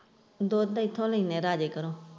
ਦੁੱਧ ਇੱਥੇ ਲੈਂਦੇ ਹੈ ਰਾਜੇ ਕੋਲ।